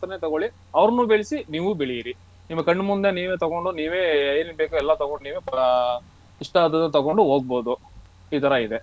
ತಗೋಳಿ ಅವರನ್ನೂ ಬೆಳಿಸಿ ನೀವು ಬೆಳೀರಿ ನಿಮ್ಮ ಕಣ್ಣು ಮುಂದೆ ನೀವೇ ತಗೊಂಡು ನೀವೇ ಏನೇನು ಬೇಕು ಎಲ್ಲ ತಗೊಂಡು ನೀವ್ ಅಹ್ ಇಷ್ಟ ಆದದ್ದನ್ನು ತಗೊಂಡು ಹೋಗ್ಬೋದು ಈ ತರ ಇದೆ.